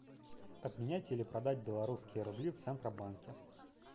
обменять или продать белорусские рубли в центробанке